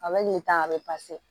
A bɛ nin ta a bɛ